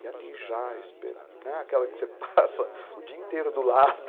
E ali já, aquela que você passa o dia inteiro do lado.